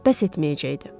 bəs etməyəcəkdi.